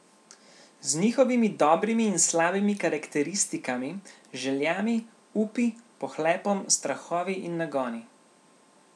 Z njihovimi dobrimi in slabimi karakteristikami, željami, upi, pohlepom, strahovi in nagoni.